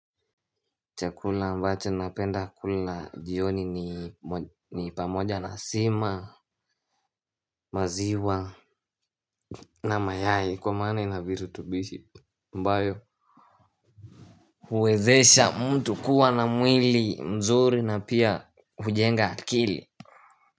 Chakula ambacho napenda kula jioni ni pamoja na sima, maziwa na mayai kwa maana ina virutubishi ambayo uwezesha mtu kuwa na mwili mzuri na pia hujenga akili.